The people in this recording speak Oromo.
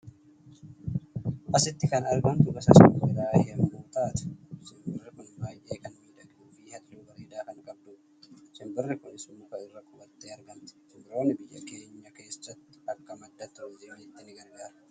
Asitti kan argamtu gosa simbiraa yommuu taatu, simbirri kun baay'ee kan miidhagduu fi halluu bareedaa kan qabdudha. Simbirri kunis muka irra qubattee argamti. Simbirroonni biyya keenya keessatti akka madda turiizimiitti ni gargaaru.